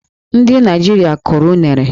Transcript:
Ndị Naịjirịa kụrụ unere.